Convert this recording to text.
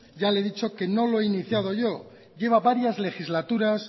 ya le he dicho que no lo he iniciado yo lleva varias legislaturas